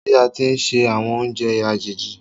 Mo fé kọ́ bí a ti ń se àwọn oúnjẹ àjèjì